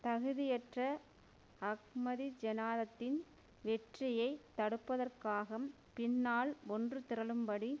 தகுதியற்ற அஹ்மதிஜெனானத்தின் வெற்றியை தடுப்பதற்காக பின்னால் ஒன்று திரளும் படி